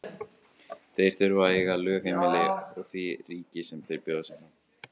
Þeir þurfa að eiga lögheimili í því ríki sem þeir bjóða sig fram.